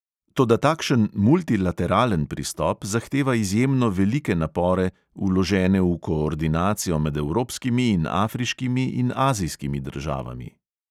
Toda takšen multilateralen pristop zahteva izjemno velike napore, vložene v koordinacijo med evropskimi in afriškimi in azijskimi državami.